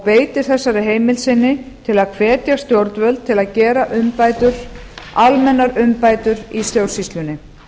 beitir þessari heimild sinni til að hvetja stjórnvöld til að gera almennar umbætur í stjórnsýslunni